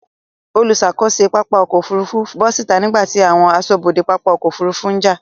Olùṣàkóso pápá ọkọ̀ Òfurufú bọ́ síta nígbàtí àwọn aṣọ́bodè pápá ọkọ̀ Òfurufú ń jà.